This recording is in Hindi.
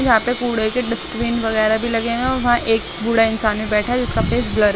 यहाँ पे कूढ़े के डस्टबिन वगैरह भी लगे हुए हैं और वहाँ एक बूढ़ा इंसान भी बैठा है जिसका फेस ब्लर है।